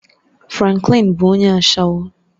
Franklin bụ onye ashawo